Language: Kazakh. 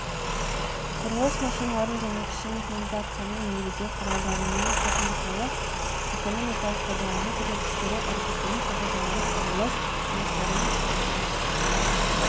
құрылыс машиналардың және кіші механизацияның негізгі құралдарының техникалық экономикалық пайдалану көрсеткіштері әрекеттену қағидалары құрылыс жұмыстарының